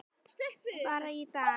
Bara í dag.